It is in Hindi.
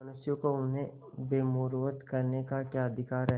मनुष्यों को उन्हें बेमुरौवत कहने का क्या अधिकार है